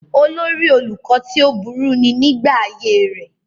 olórí olùkọ́ tí ó burú ni nígbà ayé rẹ̀